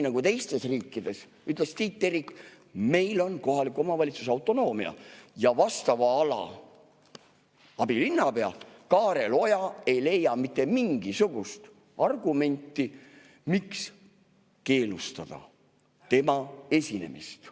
Tiit Terik ütles, et meil on kohaliku omavalitsuse autonoomia ja vastava ala abilinnapea Kaarel Oja ei leia mitte mingisugust argumenti, miks keelustada tema esinemine.